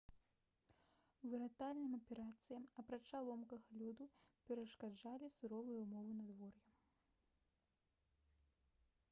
выратавальным аперацыям апрача ломкага лёду перашкаджалі суровыя ўмовы надвор'я